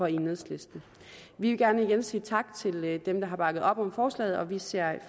enhedslisten vi vil gerne igen sige tak til dem der har bakket op om forslaget og vi ser